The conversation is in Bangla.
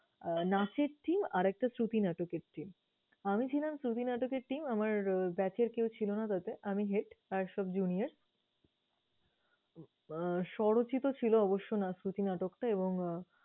নাচের team, আর একটা শ্রুতি নাটকের team । আমি ছিলাম শ্রুতি নাটকের team, আমার batch এর কেউ ছিলনা তাতেই আমি head আর সব junior । আহ স্বরচিত ছিল অবশ্য আহ শ্রুতি নাটকটা এবং আহ